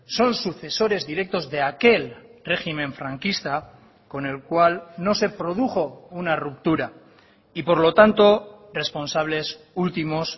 son sucesores directos de aquel régimen franquista con el cual no se produjo una ruptura y por lo tanto responsables últimos